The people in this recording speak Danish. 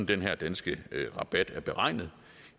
den her danske rabat er beregnet